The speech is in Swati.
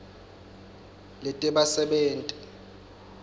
letebasebenti